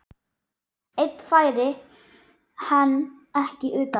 Einn færi hann ekki utan.